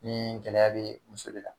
Ni gɛlɛya bɛ muso de la.